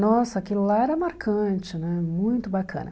Nossa, aquilo lá era marcante né, muito bacana.